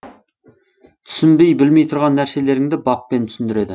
түсінбей білмей тұрған нәрселеріңді баппен түсіндіреді